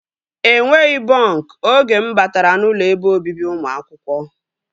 Enweghị bọnk oge mụ batara n'ụlọ ebe obibi ụmụ akwụkwọ